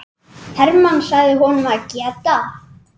Hermann sagði honum að geta.